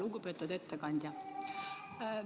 Lugupeetud ettekandja!